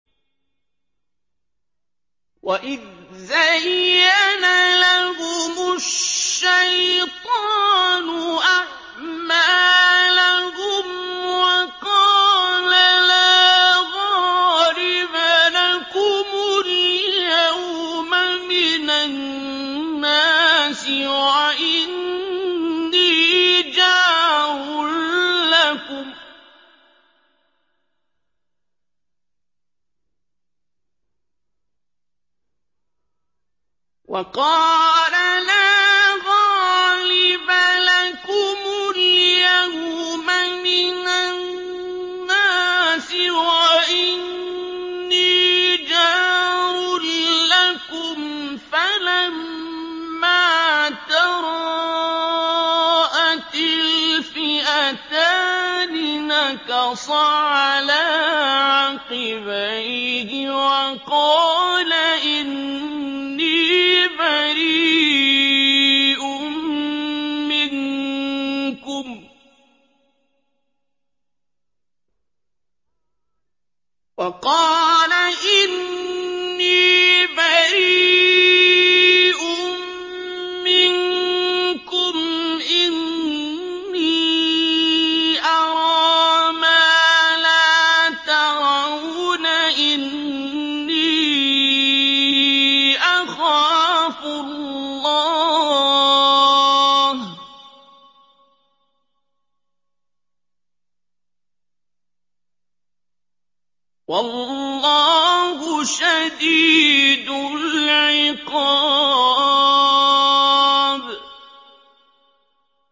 وَإِذْ زَيَّنَ لَهُمُ الشَّيْطَانُ أَعْمَالَهُمْ وَقَالَ لَا غَالِبَ لَكُمُ الْيَوْمَ مِنَ النَّاسِ وَإِنِّي جَارٌ لَّكُمْ ۖ فَلَمَّا تَرَاءَتِ الْفِئَتَانِ نَكَصَ عَلَىٰ عَقِبَيْهِ وَقَالَ إِنِّي بَرِيءٌ مِّنكُمْ إِنِّي أَرَىٰ مَا لَا تَرَوْنَ إِنِّي أَخَافُ اللَّهَ ۚ وَاللَّهُ شَدِيدُ الْعِقَابِ